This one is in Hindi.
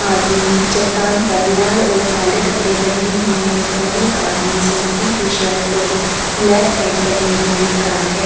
आदमी चट्टान पर लाल और काले कपड़े पहने हुए हैं और एक आदमी संतरी टी-शर्ट और ब्लैक पैंट पहने हुए खड़ा है ।